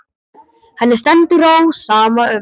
Henni stendur á sama um það.